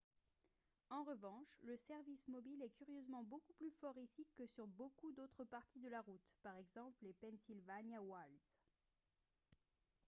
en revanche le service mobile est curieusement beaucoup plus fort ici que sur beaucoup d'autres parties de la route par exemple les pennsylvania wilds